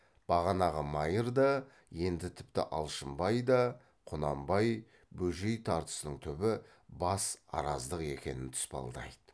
бағанағы майыр да енді тіпті алшынбай да құнанбай бөжей тартысының түбі бас араздық екенін тұспалдайды